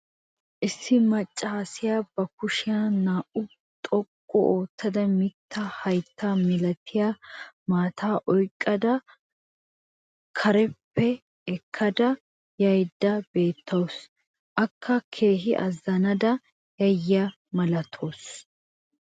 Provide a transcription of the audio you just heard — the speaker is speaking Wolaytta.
issi macaassiya ba kushshiya naa'aa xoqqu ootada mitaa haytta milattiya maataa oyqqada carppa ekkada yaydda beetawusu. akka keehi azanada yiyaba malatawusu.